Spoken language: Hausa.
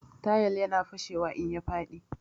Tayal ya na fashewa in ya faɗi